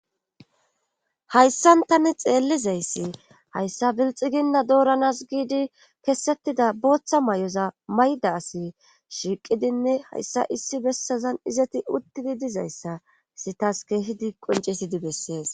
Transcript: Hayssan tani xeellizayssi hayssa bilxxiginna dooranaas giidi kessetida bootha mayoza mayida asi shiiqidinne hayssa issi bessazan izati uttidi dizaysssa hessi tas keehidi qonccidi beetes